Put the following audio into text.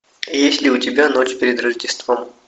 есть ли у тебя ночь перед рождеством